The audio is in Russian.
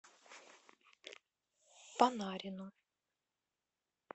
панарину